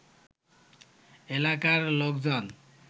এলাকার লোকজন